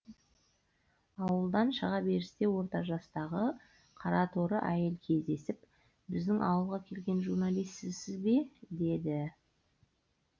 ауылдан шыға берісте орта жастағы қараторы әйел кездесіп біздің ауылға келген журналист сізсіз бе деді